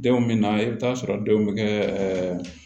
Denw bɛ na i bɛ taa sɔrɔ denw bɛ kɛ ɛ